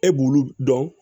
E b'ulu dɔn